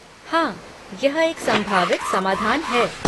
हाँ, यह एक संभावित समाधान है।